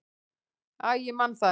"""Æ, ég man það ekki."""